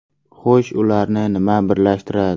Xo‘sh, ularni nima birlashtiradi?